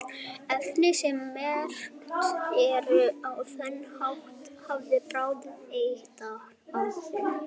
efni sem merkt eru á þennan hátt hafa bráð eituráhrif